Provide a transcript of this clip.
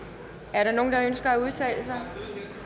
er der nogen der ønsker at udtale sig